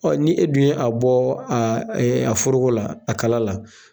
ni e dun ye a bɔ a foroko la a kala la.